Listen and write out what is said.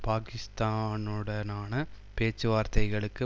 பாக்கிஸ்தானுடனான பேச்சுவார்த்தைகளுக்கு